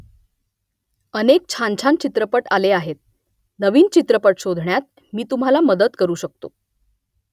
अनेक छानछान चित्रपट आले आहेत नवीन आवडता चित्रपट शोधण्यात मी तुम्हाला मदत करू शकतो